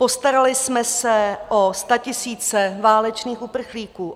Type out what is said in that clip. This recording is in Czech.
Postarali jsme se o statisíce válečných uprchlíků.